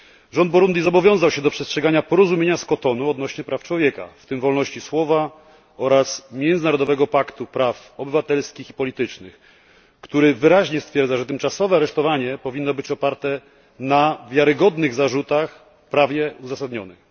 Rząd Burundi zobowiązał się do przestrzegania porozumienia z Cotonu odnośnie praw człowieka, w tym wolności słowa, oraz Międzynarodowego Paktu Praw Obywatelskich i Politycznych, który wyraźnie stwierdza, że tymczasowe aresztowanie powinno być oparte na wiarygodnych zarzutach, prawnie uzasadnionych.